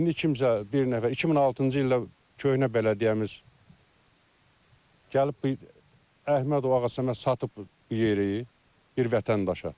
İndi kimsə bir nəfər 2006-cı ildə köhnə bələdiyyəmiz gəlib Əhmədov Ağasəməd satıb bu yeri, bir vətəndaşa.